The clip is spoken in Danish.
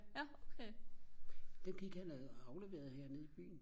dem gik han og afleverede hernede i byen